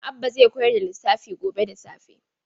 Malam Abba zai koyar da lissafi gobe da safe.